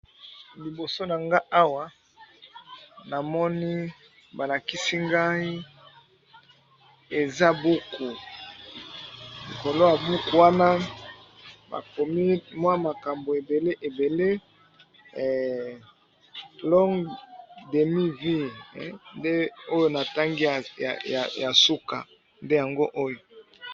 Liboso na nga awa namoni balakisi ngai eza buku kolwa buku wana bakomi mwa makambo ebele ebele long demiv nde oyo na ntangi ya suka nde yango oyo.